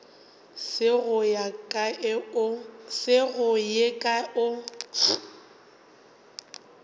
se go ye kae o